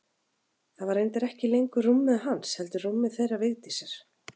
Það var reyndar ekki lengur rúmið hans heldur rúmið þeirra Vigdísar.